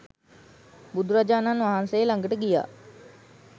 බුදුරජාණන් වහන්සේ ලඟට ගියා